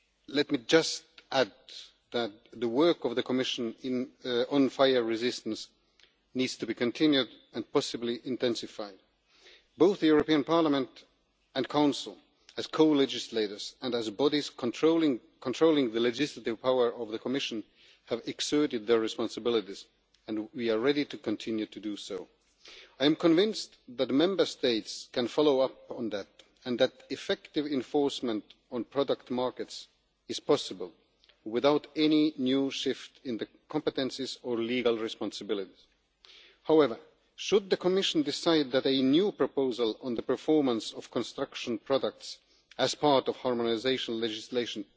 Let me just add that the work of the Commission on fire resistance needs to be continued and possibly intensified. Both the European Parliament and Council, as co legislators and as bodies controlling the legislative power of the Commission have exercised their responsibilities and we are ready to continue to do so. I am convinced that the Member States can follow up on that and that effective enforcement on product markets is possible, without any new shift in the competences or legal responsibilities. However, should the Commission decide that a new proposal on the performance of construction products as part of harmonisation legislation